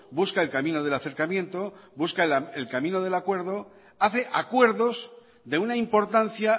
busca el camino del acercamiento busca el camino del acuerdo hace acuerdos de una importancia